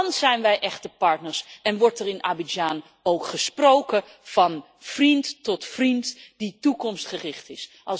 Dan zijn we echte partners en wordt er in Abidjan ook gesproken van vriend tot vriend die toekomstgericht is.